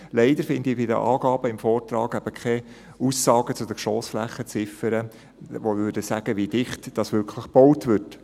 Leider finde ich bei den Angaben im Vortrag keine Aussagen zu den Geschossflächenziffern, die zeigen würden, wie dicht wirklich gebaut wird.